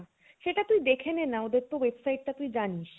সেটা তুই দেখে নে না ওদের website টাতো তুই জানিস